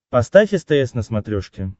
поставь стс на смотрешке